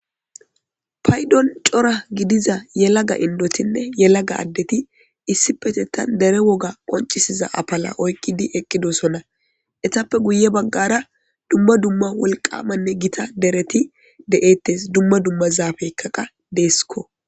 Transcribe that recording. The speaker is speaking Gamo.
Paydon cora gidiza yelaga indotine yelaga adeti issippetetan dere woga qoncisiza afila oykidi eqidosona etappe guye bagara duma duma wolqamane dereti de'etes duma duma zafeyka qas desko